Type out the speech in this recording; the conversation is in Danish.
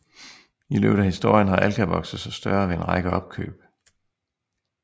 I løbet af historien har Alka vokset sig større ved en række opkøb